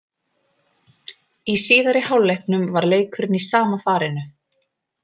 Í síðari hálfleiknum var leikurinn í sama farinu.